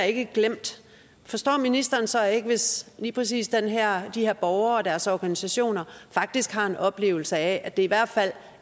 ikke er glemt forstår ministeren så ikke hvis lige præcis de her her borgere og deres organisationer faktisk har en oplevelse af at det i hvert fald